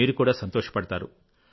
మీరు కూడా సంతోషపడుతారు